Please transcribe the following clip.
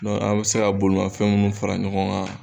an bɛ se ka bolimafɛn minnu fara ɲɔgɔn kan.